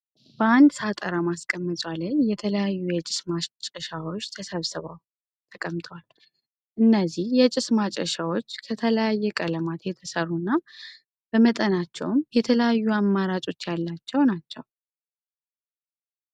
በአንድ ሳጠራ ማስቀመጫ ላይ የተለያዩ የጭስ ማጨሻዎች ተሰብስበው ተቀምጠዋል። እነዚህ የጭስ ማጨሻዎች ከተለያየ ቀለማት የተሰሩ እና በመጠናቸውም የተለያዩ አማራጮች ያላቸው ናቸው።